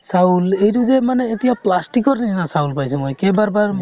চাউল এইটো যে মানে এতিয়া plastic ৰ নিছিনা চাউল পাইছো মই। কেবাৰ বাৰ